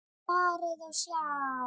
Farið og sjá!